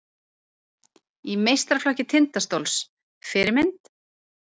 Í meistaraflokk Tindastóls Fyrirmynd?